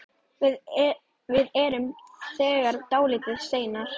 Við erum þegar dálítið seinir.